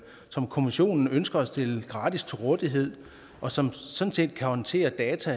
som kommissionen ønsker at stille gratis til rådighed og som sådan set kan håndtere data